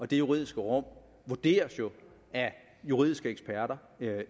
det juridiske rum vurderes jo af juridiske eksperter